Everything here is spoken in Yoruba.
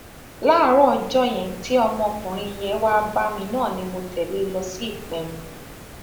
láàárọ ọjọ yẹn tí ọmọkùnrin yẹn wáá bá mi náà ni mo tẹlé e lọ sí ìpẹrù